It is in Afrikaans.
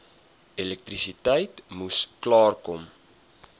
elektrisiteit moes klaarkom